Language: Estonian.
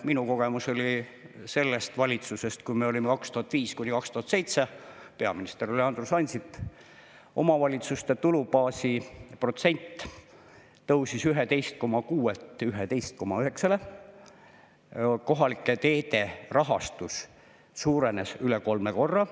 Minu kogemus on sellest ajast, kui me olime valitsuses 2005–2007, peaminister oli Andrus Ansip, siis omavalitsuste tulubaasi protsent tõusis 11,6-lt 11,9-le, kohalike teede rahastus suurenes üle kolme korra.